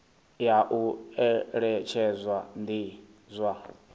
ya u eletshedza ndi zwa